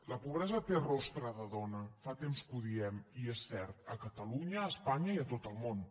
la pobresa té rostre de dona fa temps que ho diem i és cert a catalunya a espanya i a tot el món